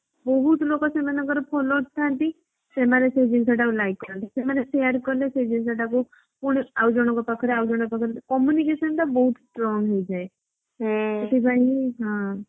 ବହୁତ ଲୋକ ସେମାନଙ୍କର followers ସେମାନେ ସେଇ ଜିନିଷଟା କୁ likesରନ୍ତି ସେମାନେ share କାଲେ ସେ ଜିନିଷ ତ କୁ ପୁଣି ଆଉ ଜଣଙ୍କ ପାଖରେ ଆଉ ଜଣଙ୍କ ପାଖରେ communication ଟା ବହୁତ start ହେଇଯାଏ। ସେଥିପାଇଁ ହି ହଁ